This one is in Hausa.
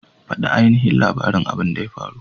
Fada ainihin labarin abin da ya faru!